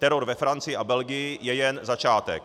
Teror ve Francii a Belgii je jen začátek.